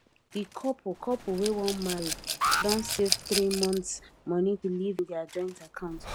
di couple couple wey wan marry don save three months money to live in their joint account